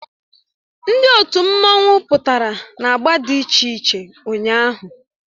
Ndị otu mmanwụ pụtara na agba dị iche iche ụnyahụ